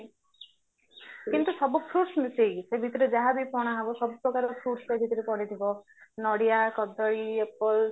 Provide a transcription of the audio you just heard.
କିନ୍ତୁ ସବୁ fruits ମିଶେଇକି ସେଇ ଭିତରେ ଯାହା ବି ପଣା ହବ ସବୁ ପ୍ରକାର fruits ତା ଭିତରେ ପଡିଥିବା ନଡିଆ କଦଳୀ apple